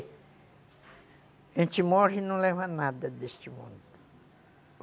A gente morre e não leva nada deste mundo.